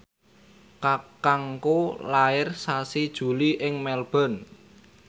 kakangku lair sasi Juli ing Melbourne